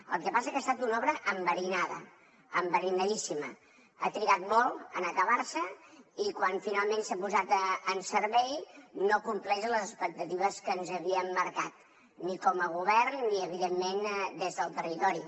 el que passa que ha estat una obra enverinada enverinadíssima ha trigat molt a acabar se i quan finalment s’ha posat en servei no compleix les expectatives que ens havíem marcat ni com a govern ni evidentment des del territori